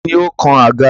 Tani ó kan àga?